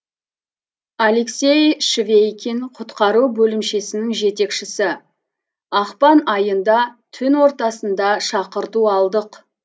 алексей швейкин құтқару бөлімшесінің жетекшісі ақпан айында түн ортасында шақырту алдық